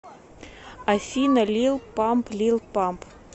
афина лил памп лил памп